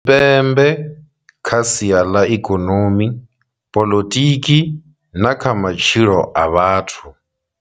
Tshipembe kha sia ḽa ikonomi, poḽotiki na kha matshilo a vhathu.